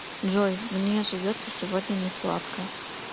джой мне живется сегодня не сладко